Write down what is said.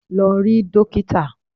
Lọ rí dókítà!